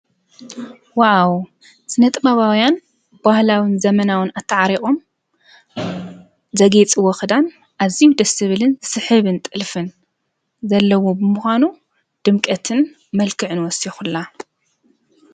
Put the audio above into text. ዋው ስነ-ጥበባውያን ባህላውን ዘመናውን ኣታዓሪቑ ዘግይፅዎ ክዳን ኣዝዩ ደስ ዝብልን ዝስሕብን ጥልፍን ዘለዎ ብምኳኑ ድምቀትን መልክዕን ወሲኹላ፡፡